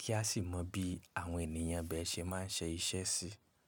kí á sì mọ bí àwọn ènìyàn ibẹ̀ ṣe máa ń ṣe iṣẹ́ sí.